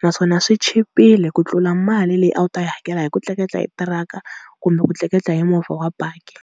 naswona swi chipile ku tlula mali leyi a wu ta yi hakela hi ku tleketla hi tiraka kumbe ku tleketla hi movha wa baki.